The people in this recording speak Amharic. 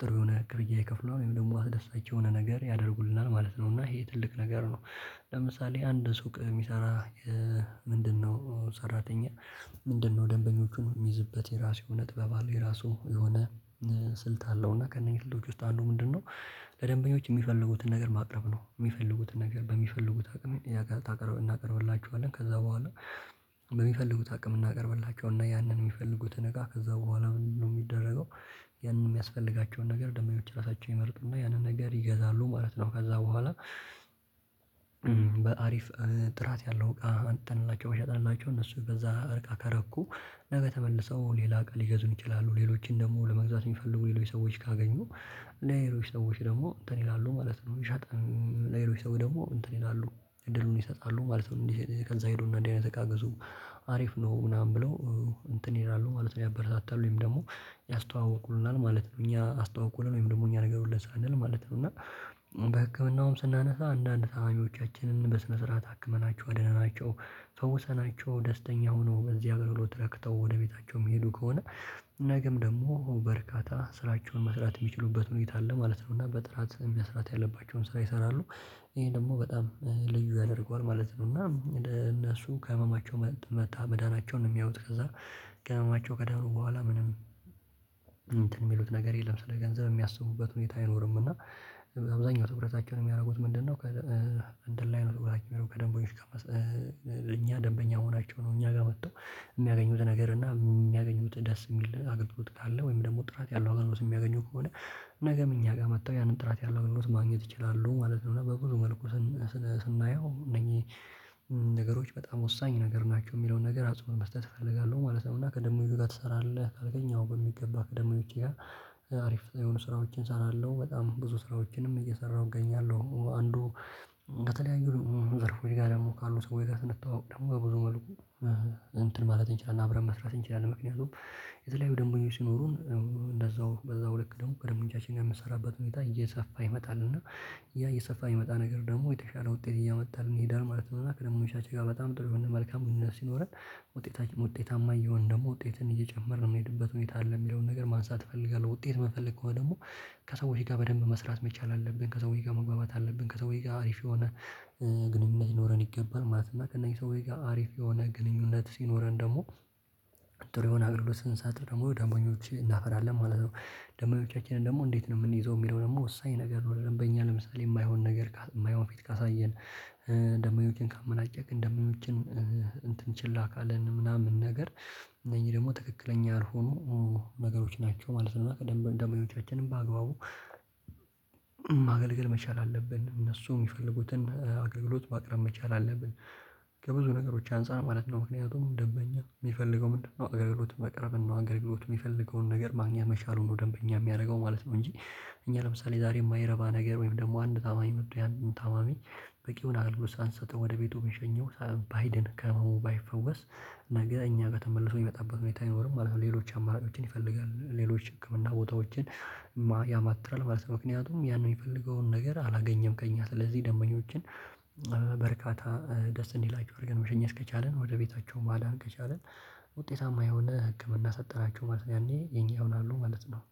ጥሩ የሆነ ቅርያ የከፈለው ወይም ደግሞ አስደሳች የሆነ ነገር ያደርጉልናል ማለት ነው። እና ይሄ ትልቅ ነገር ነው። ለምሳሌ አንድ ሱቅ የሚሰራ ምንድነው ሰራተኛ ምንድነው? ደንበኞቹን የሚይዝበት የራሱ እውነት ጥበብ አለ የራሱ የሆነ ስልት አለው እና ከነኚህ ስልቶች ውስጥ አንዱ ምንድነው? ለደንበኞች የሚፈልጉትን ነገር ማቅረብ ነው የሚፈልጉትን ነገር በሚፈልጉት አቅም እናቀርብላችኋለን ከዛ በኋላ በሚፈልጉት አቅም እናቀርብላቸው እና ያንን የሚፈልጉትን እቃ ከዛ በኋላ ነው የሚደረገው ያንን የሚያስፈልጋቸውን ነገር ደማዮች ራሳቸውን ይመርጥና ያንን ነገር ይገዛሉ ማለት ነው። ከዛ በኋላ በአሪፍ ጥራት ያለው እቃ አንተን እላችሁ በሸጥንላችሁ እነሱ በዛ እርቃ ከረኩ ነገ ተመልሰው ሌላ ቀን ሊገዙን ይችላሉ ሌሎችን ደግሞ ለመግዛት የሚፈልጉ ሌሎች ሰዎች ካገኙ ሌሎች ሰዎች ደግሞ እንትን ይላሉ ማለት ነው። ሻጥን ሰው ደግሞ እንትን ይላሉ እድሉን ይሰጣሉ ማለት ነው። ከዛ ሄዶ እንደዚህ አይነት እቃ ግዙ አሪፍ ነው ምናምን ብለው እንትን ይላሉ ማለት ነው። ያበረታታሉኝ ወይም ደግሞ ያስተዋወቁልናል ማለት ነው። እኛ አስተዋውቁልን ወይም ደግሞ እኛ ነገር ሁሉ ሳንል ማለት ነው እና በህክምናውም ስናነሳ አንዳንድ ታማኞቻችንን በስነ ስርዓት አክመናቸው አደንናቸው ፈውሰናቸው ደስተኛ ሆኖ በዚህ አገልግሎት ረክተው ወደ ቤታቸው የሚሄዱ ከሆነ ነገም ደግሞ በርካታ ስራቸውን መስራት የሚችሉበት መንገድ አለ ማለት ነው። እና በጥራት በስራት ያለባቸውን ስራ ይሰራሉ ይሄ ደግሞ በጣም ልዩ ያደርገዋል ማለት ነው። እና እነሱ ከህመማቸው መታ መዳናቸውን የሚያዩት ከዛ ከህመማቸው ከደኑ በኋላ ምንም እንትን ሚሉት ነገር የለም። ስለ ገንዘብ የሚያስቡበት ሁኔታ አይኖርም። እና አብዛኛው ትኩራታቸውን የሚያደርጉት ምንድነው? እንደላይ ነው ትግራቸውን ከደንቦች ጋር እኛ ደንበኛ መሆናቸው ነው። እኛ ጋር መጥተው የሚያገኙት ነገር እና የሚያገኙት ደስ የሚል አገልግሎት ካለ ወይም ደግሞ ጥራት ያለው አጋጣሚ የሚያገኙት ከሆነ ነገም እኛ ጋር መጥተው ያንን ጥራት ያለው ልምምድ ማግኘት ይችላሉ ማለት ነው። እና በብዙ መልኩ ስናየው እነኚህ ነገሮች በጣም ወሳኝ ነገር ናቸው የሚለውን ነገር አጽንዋት መስጠት እፈልጋለሁ ማለት ነው። እና ከደንበኞች ጋር ትሰራለህ ካልከኝ አዎ በሚገባ ከደመኞቼ ጋር አሪፍ የሆኑ ስራዎችን እሰራለሁ። በጣም ብዙ ስራዎችንም እየሰራሁ እገኛለሁ አንዱ በተለያዩ ዘርፎች ጋር ደግሞ ካሉት ወይ ጋር ስንተዋወቅ ደግሞ ብዙ መልኩ እንትን ማለት እንችላለን። አብረን መስራት እንችላለን። ምክንያቱም የተለያዩ ደንበኞች ሲኖሩን እንደዛው በዛው ልክ ደግሞ ከደንበኞች የምሰራበት ሁኔታ እየሰፋ ይመጣል እና ያ እየሰፋ ይመጣ ነገር ደግሞ የተሻለ ውጤት እያመጣልን ይሄዳል ማለት ነው። እና ከደንበኞቻችን ጋር በጣም ጥሩ የሆነ መልካም ሲኖረን ውጤታማ እየሆን ደግሞ ውጤትን እየጨመርን የምንሄድበት ሁኔታ አለ። የሚለውን ነገር ማንሳት እፈልጋለሁ። ውጤት የምፈልገው ደግሞ ከሰዎች ጋር በደንብ መስራት መቻል አለብን ከሰዎች ጋር መግባባት አለብን። ከሰውዬ ጋር አሪፍ የሆነ ግንኙነት ይኖረን ይገባል ማለት ነው። እና ከእነኚህ ሰው ጋር አሪፍ የሆነ ግንኙነት ሲኖረን ደግሞ ጥሩ ይሆናል። አገልግሎት ስንሳጥ ደግሞ ደንበኞችን እናፈራለን ማለት ነው። ደምበኞቻችንን ደግሞ እንዴት ነው የምንይዘው የሚለው ደግሞ ወሳኝ ነገር ነው? ደንበኛ ለምሳሌ የማይሆን ነገር የማይሆን ቤት ካሳየን ደምበኞችን ካመናጨክን ደምበኞችን እንትን ችላ ካለን ምናምን ነገር እነኚ ደግሞ ትክክለኛ ያልሆኑ ነገሮች ናቸው ማለት ነው። ቀደም ደሞበኞቻችንም በአግባቡ ማገልገል መቻል አለብን እነሱ የሚፈልጉትን አገልግሎት ማቅረብ መቻል አለብን። ከብዙ ነገሮች አንፃር ማለት ነው። ምክንያቱም ደንበኛ የሚፈልገው ምንድነው አገርግሎት መቅረብ ነው። አገርግሎት የሚፈልገውን ነገር ማግኘት መቻል ሆኖ ደንበኛ የሚያደርገው ማለት ነው። እንጂ እኛ ለምሳሌ ዛሬ የማይረባ ነገር ወይም ደግሞ አንድ ታማኝ ምድር አንድ ታማሚ በቂ የሆነ አልጋ ውስጥ ሳንሰጥም ወደ ቤቱ ቢሸኘው ሳበብ ባይድን ከመሆን ባይፈወስ ነገ እኛ በተመለሰው የሚመጣበት ሁኔታ አይኖርም ማለት ነው። ሌሎች አማራጮችን ይፈልጋል ሌሎች ህክምና ቦታዎችን ያማትራል ማለት ነው። ምክንያቱም ያን የሚፈልገውን ነገር አላገኘም ከእኛ ስለዚህ ደምበኞችን በርካታ ደስ እንዲላችሁ አድርገን መሸኘት ከቻልን ወደ ቤታቸው ማዳን ከቻልን ውጤታማ የሆነ ህክምና ሰጠናችሁ ማለት ነው። ያኔ የኛ ይሆናሉ ማለት ነው